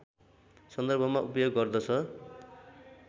सन्दर्भमा उपयोग गर्दछ